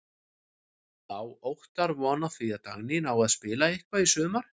Á Óttar von á því að Dagný nái að spila eitthvað í sumar?